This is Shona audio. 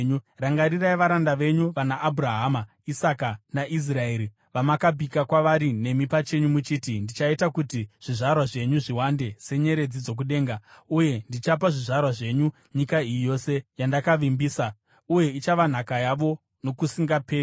Rangarirai varanda venyu vanaAbhurahama, Isaka naIsraeri, vamakapika kwavari nemi pachenyu muchiti, ‘Ndichaita kuti zvizvarwa zvenyu zviwande senyeredzi dzokudenga, uye ndichapa zvizvarwa zvenyu nyika iyi yose yandakavavimbisa, uye ichava nhaka yavo nokusingaperi.’ ”